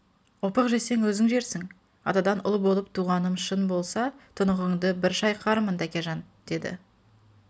опық жесең өзің жерсің атадан ұл болып туғаным шын болса тұнығынды бір шайқармын тәкежан деді деп